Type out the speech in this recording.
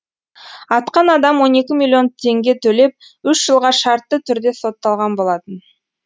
атқан адам он екі миллион теңге төлеп үш жылға шартты түрде сотталған болатын